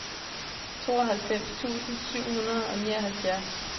tooghalvfems tusind syv hundrede og nioghalvfjerds